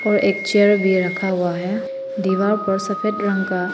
और एक चेयर भी रखा हुआ है दीवार पर सफेद रंग का--